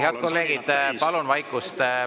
Head kolleegid, palun vaikust!